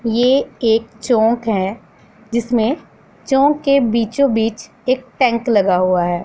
यह एक चौक है जिसमें चौक के बीचो बीच एक टैंक लगा हुआ है।